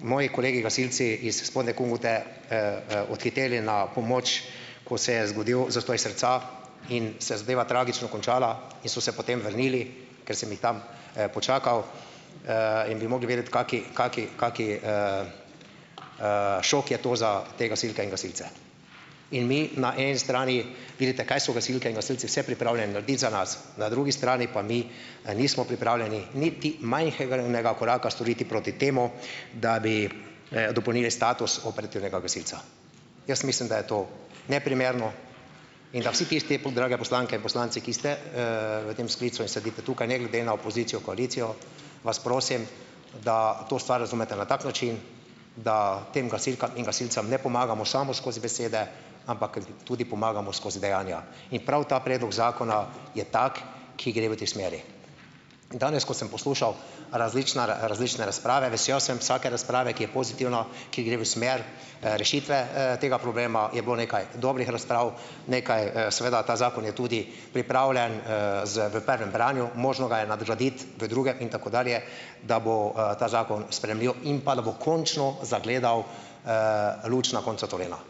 moji kolegi gasilci is Spodnje Kungote odhiteli na pomoč, ko se je zgodil zastoj srca in se je zadeva tragično končala in so se potem vrnili, ker sem jih tam, počakal, in bi mogli vedeti, kakšen, kakšen, kakšen je šok je to za te gasilke in gasilce. In mi na eni strani vidite, kaj so gasilke in gasilci vse pripravljeni narediti za nas, na drugi strani pa mi, nismo pripravljeni niti majhnega koraka storiti proti temu, da bi, dopolnili status operativnega gasilca. Jaz mislim, da je to neprimerno in da vsi tisti, drage poslanke in poslanci, ki ste, v tem sklicu in sedite tukaj ne glede na opozicijo, koalicijo, vas prosim, da to stvar razumete na tak način, da tem gasilkam in gasilcem ne pomagamo samo skozi besede, ampak tudi pomagamo skozi dejanja. In prav ta predlog zakona je tak, ki gre v tej smeri. In danes, ko sem poslušal različna različne razprave, vesel sem vsake razprave, ki je pozitivna, ki gre v smer, rešitve, tega problema, je bilo nekaj dobrih razprav, nekaj, seveda ta zakon je tudi pripravljen, z v prvem branju, možno ga je nadgraditi v drugem in tako dalje, da bo, ta zakon sprejemljiv in pa da bo končno zagledal luč na koncu tunela.